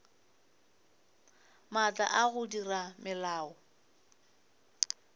maatla a go dira melao